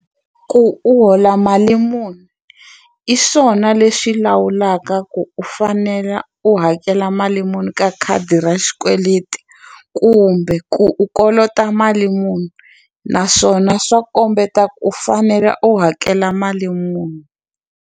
Ku u hola mali muni i swona lexi lawulaka ku u fanela u hakela mali muni ka khadi ra xikweleti kumbe ku u kolota mali muni naswona swa kombeta ku u fanela u hakela mali muni.